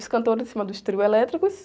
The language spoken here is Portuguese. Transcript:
Os cantores em cima dos trio elétricos.